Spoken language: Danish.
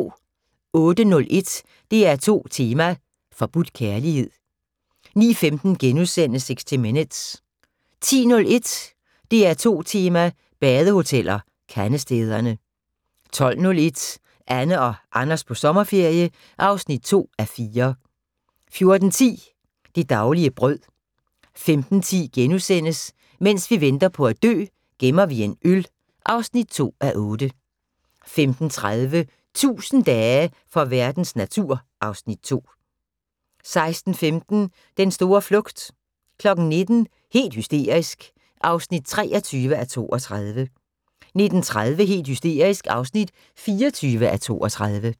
08:01: DR2 tema: Forbudt kærlighed 09:15: 60 Minutes * 10:01: DR2 Tema: Badehoteller - Kandestederne 12:01: Anne og Anders på sommerferie (2:4) 14:10: Det daglige brød 15:10: Mens vi venter på at dø - gemmer vi en øl (2:8)* 15:30: 1000 dage for verdens natur (Afs. 2) 16:15: Den store flugt 19:00: Helt hysterisk (23:32) 19:30: Helt hysterisk (24:32)